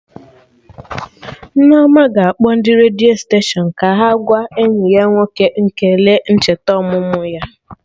Nneoma ga-akpọ ndị redio steshọnụ ka ha gwa enyi ya nwoke ekele ncheta ọmụmụ ya